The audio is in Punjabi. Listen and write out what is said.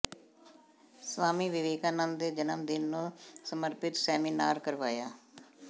ਸਵਾਮੀ ਵਿਵੇਕਾਨੰਦ ਦੇ ਜਨਮ ਦਿਨ ਨੂੰ ਸਮਰਪਿਤ ਸੈਮੀਨਾਰ ਕਰਵਾਇਆ